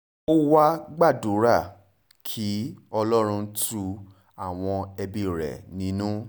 ó wàá gbàdúrà kí ọlọ́run tu àwọn ẹbí rẹ nínú